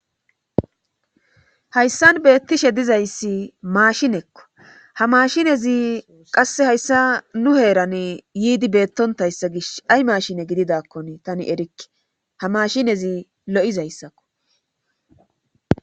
Hayssan beettishe dizayssi maashinekko ha mashinezi qasse hayssa nu heeran yiidi beettontayssa gish ay maashine gididakkon tani erikke ha maashinezi lo'izayssakko